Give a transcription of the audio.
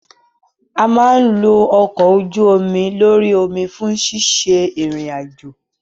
A máa ń lo ọkọ̀ ojú-omi lórí omi fún ṣíṣe ìrìn àjò.